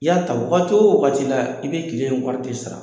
I y'a ta wagati o wagati la, i bɛ tile wari de sara.